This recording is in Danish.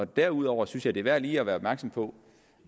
derudover synes jeg det er værd lige at være opmærksom på